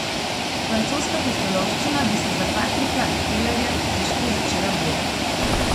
Francoska pustolovščina bi se za Patrika Elerja težko začela bolje.